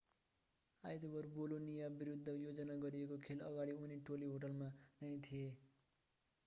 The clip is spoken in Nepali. आइतबार बोलोनिया विरुद्ध योजना गरिएको खेल अगाडि उनी टोली होटेलमा नै थिए